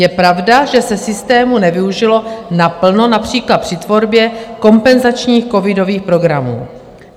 Je pravda, že se systému nevyužilo naplno, například při tvorbě kompenzačních covidových programů.